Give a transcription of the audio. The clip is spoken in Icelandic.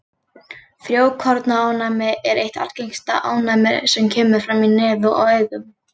Frjókornaofnæmi er eitt algengasta ofnæmið sem kemur fram í nefi og augum.